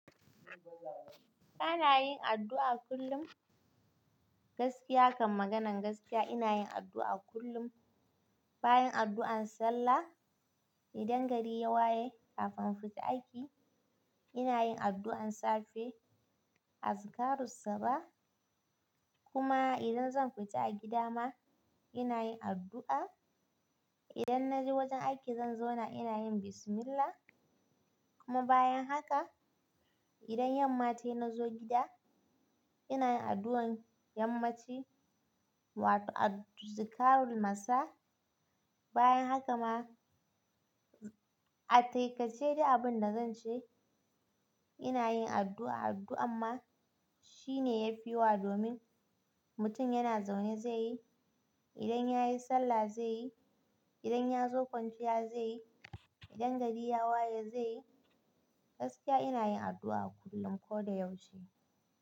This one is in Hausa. Kana yin addu'a kullum? Gaskiya kan maganan gaskiya ina yin addu'a kullum, bayan addu'an sallah, idan gari ya waye, kafin fita aiki ina yin addu'an safe, azikarrun saba kuma idan zan fita a gida ma ina yin addu'a. Idan na je wajen aiki zan zauna ina yin bismillah kuma bayan haka idan yanma tayi ina zo gida ina yin addu'an yammaci wato azikarrun nasa bayan haka ma a taƙaice dai abun da zan ce ina yin addu'a, addu'a amma shine yafi wa domin mutum yana zaune zai yi, idan ya yi sallah zai yi, idan ya zo kwanciya zai yi, idan gari ya waye zai yi. Gaskiya ina yin addu'a kullum ko da yaushe.